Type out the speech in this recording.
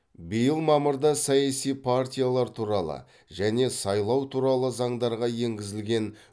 биыл мамырда саяси партиялар туралы және сайлау туралы заңдарға енгізілген